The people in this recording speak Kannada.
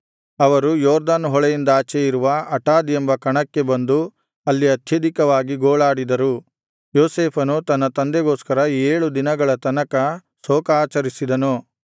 ಅವರು ಯೊರ್ದನ್ ಹೊಳೆಯಿಂದಾಚೆ ಇರುವ ಆಟಾದ್ ಎಂಬ ಕಣಕ್ಕೆ ಬಂದು ಅಲ್ಲಿ ಅತ್ಯಧಿಕವಾಗಿ ಗೋಳಾಡಿದರು ಯೋಸೇಫನು ತನ್ನ ತಂದೆಗೋಸ್ಕರ ಏಳು ದಿನಗಳ ತನಕ ಶೋಕಾಚರಿಸಿದನು